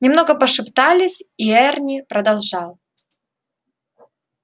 немного пошептались и эрни продолжал